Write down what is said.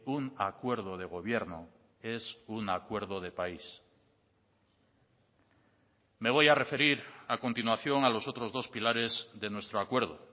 un acuerdo de gobierno es un acuerdo de país me voy a referir a continuación a los otros dos pilares de nuestro acuerdo